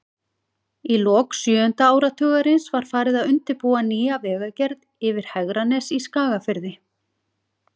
Í lok sjöunda áratugarins var farið að undirbúa nýja vegagerð yfir Hegranes í Skagafirði.